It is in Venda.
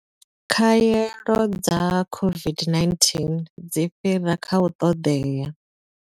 Khaelo dza COVID-19 dzi fhira kha u ṱoḓea.